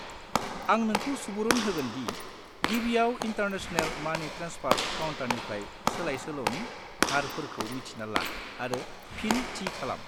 आं नोंखौ सुबुरुन होगोन दि गिबियाव इन्टारनेशनेल मानि ट्रेन्सफार काउन्टारनिफ्राय सोलायसोल'नि हारफोरखौ मिथिना ला आरो फिन थि खालाम।